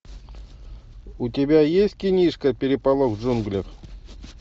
у тебя есть кинишка переполох в джунглях